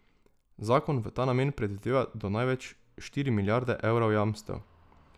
Zakon v ta namen predvideva do največ štiri milijarde evrov jamstev.